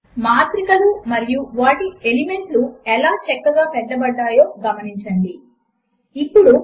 ఇప్పుడు మనము రెండు లేదా మూడు సమీకరణములను వ్రాయడము మరియు ఒక ప్రత్యేకమైన కారెక్టర్ మీద ఆధారపడి వాటిని ఎలైన్ చేయడము కూడా మాత్రికలు వాడి చేయవచ్చు